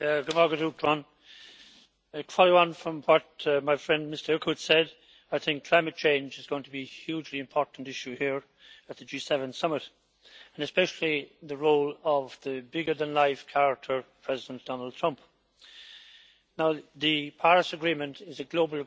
Following on from what my friend Mr Eickhout said, I think climate change is going to be a hugely important issue here at the G7 summit, and especially the role of the larger-than-life character President Donald Trump. The Paris agreement is a global agreement, and if the United States